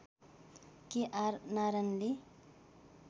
के आर नारायणनले